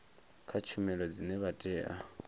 kha tshumelo dzine vha tea